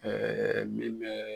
min mɛ